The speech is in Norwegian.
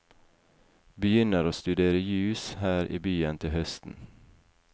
Begynner å studere jus her i byen til høsten.